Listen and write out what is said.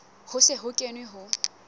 ho se ho kenwe ho